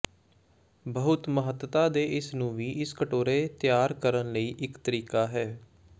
ਬਹੁਤ ਮਹੱਤਤਾ ਦੇ ਇਸ ਨੂੰ ਵੀ ਇਸ ਕਟੋਰੇ ਤਿਆਰ ਕਰਨ ਲਈ ਇੱਕ ਤਰੀਕਾ ਹੈ